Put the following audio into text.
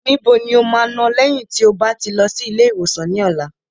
Níbo ni o máa lọ lẹ́yìn tí o bá ti lọ sí ilé ìwòsàn ní ọ̀la?